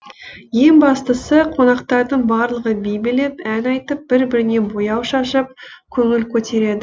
ең бастысы қонақтардың барлығы би билеп ән айтып бір біріне бояу шашып көңіл көтереді